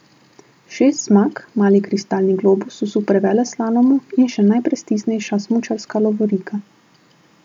Šest zmag, mali kristalni globus v superveleslalomu in še najprestižnejša smučarska lovorika.